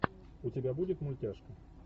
у тебя будет мультяшка